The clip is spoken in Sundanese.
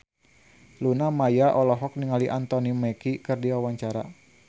Luna Maya olohok ningali Anthony Mackie keur diwawancara